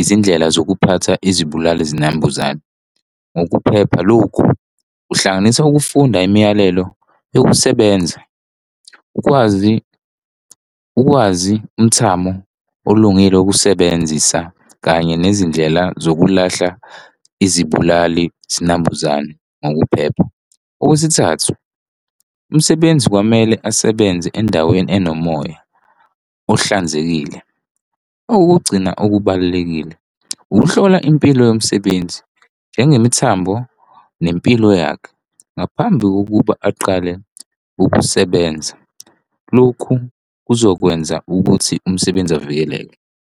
izindlela zokuphatha izibulali zinambuzane ngokuphepha. Lokhu kuhlanganisa ukufunda imiyalelo yokusebenza ukwazi, ukwazi umthamo olungile, ukusebenzisa kanye nezindlela zokulahla izibulali zinambuzane ngokuphepha. Okwesithathu, umsebenzi kwamele asebenze endaweni enomoya ohlanzekile. Okokugcina okubalulekile, ukuhlola impilo yomsebenzi njengemithambo nempilo yakhe ngaphambi kokuba aqale ukusebenza. Lokhu kuzokwenza ukuthi umsebenzi avikeleke.